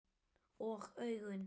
Og augun?